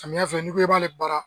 Samiya fɛ n'i ko i b'ale baara